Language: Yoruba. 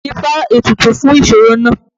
Dífá ètùtù fún ìṣoro náà!